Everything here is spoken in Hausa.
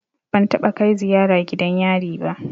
Ban taɓa kai ziyara gidan yari ba.